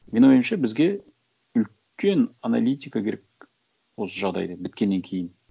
менің ойымша бізге үлкен аналитика керек осы жағдайды біткеннен кейін